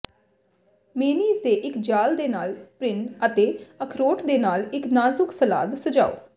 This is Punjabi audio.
ਮੇਅਨੀਜ਼ ਦੇ ਇੱਕ ਜਾਲ ਦੇ ਨਾਲ ਪ੍ਰਿਨ ਅਤੇ ਅਖਰੋਟ ਦੇ ਨਾਲ ਇੱਕ ਨਾਜੁਕ ਸਲਾਦ ਸਜਾਓ